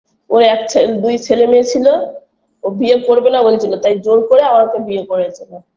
ওর এক ছে দুই ছেলেমেয়ে ছিল ও বিয়ে করবেনা বলেছিল তাই জোর করে আমাকে বিয়ে করেছিল